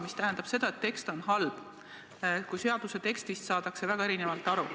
Mis tähendab seda, et tekst on halb.